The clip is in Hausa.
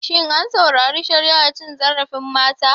Shin an saurari shari'ar cin zarafin mata?